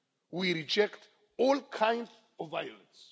We reject all kinds of violence.